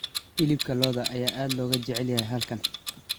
Hilibka lo'da ayaa aad looga jecel yahay halkan.